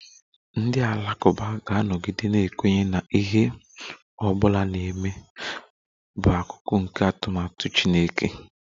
Ndị Alakụba ga-anọgide na-ekwenye na ihe ọ bụla na-eme bụ akụkụ nke atụmatụ Chineke